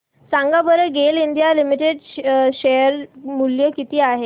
सांगा बरं GAIL India limited share मूल्य किती आहे